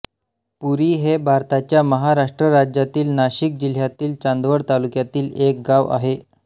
पुरी हे भारताच्या महाराष्ट्र राज्यातील नाशिक जिल्ह्यातील चांदवड तालुक्यातील एक गाव आहे